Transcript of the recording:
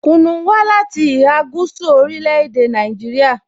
Kunu wa lati iha gúúsù ni orile-ede Naijiria.